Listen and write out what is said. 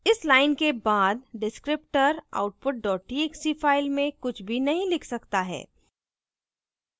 इस line के बाद descriptor output dot txt file में कुछ भी नहीं लिख सकता है